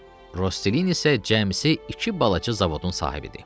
Rosselini isə cəmisi iki balaca zavodun sahibidir.